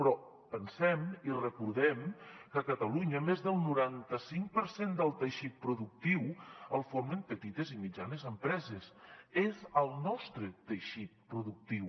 però pensem i recordem que a catalunya més del noranta cinc per cent del teixit productiu el formen petites i mitjanes empreses és el nostre teixit productiu